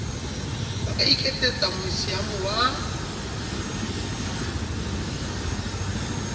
ba ka iketsetsa meusiamo wa